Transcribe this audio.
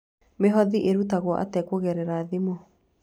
Mĩhothi ĩrutagwo atĩa kũgerera thimũ?